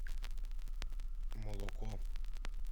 молоко